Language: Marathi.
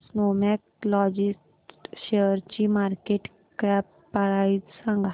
स्नोमॅन लॉजिस्ट शेअरची मार्केट कॅप प्राइस सांगा